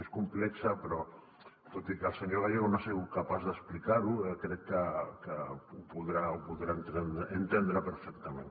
és complex però tot i que el senyor gallego no ha sigut capaç d’explicar ho crec que ho podrà entendre perfectament